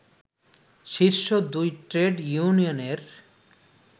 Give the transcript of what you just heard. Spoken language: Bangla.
শীর্ষ দুই ট্রেড ইউনিয়নের